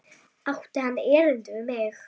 Átti hann erindi við mig?